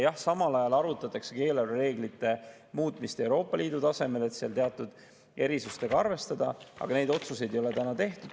Jah, samal ajal arutatakse eelarvereeglite muutmist Euroopa Liidu tasemel, et seal teatud erisustega arvestada, aga neid otsuseid ei ole täna tehtud.